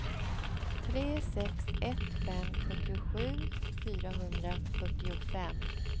tre sex ett fem sjuttiosju fyrahundrafyrtiofem